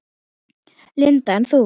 Linda: En þú?